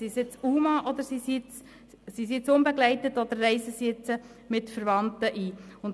Sind sie nun unbegleitet, oder reisen sie mit Verwandten ein?